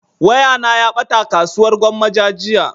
Waya na ya ɓata a kasuwar gwammaja jiya